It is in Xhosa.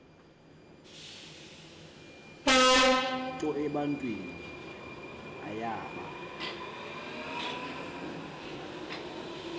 nto ebantwini ayaba